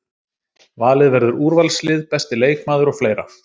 Valið verður úrvalslið, besti leikmaður og fleira.